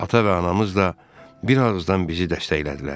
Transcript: Ata və anamız da bir ağızdan bizi dəstəklədilər.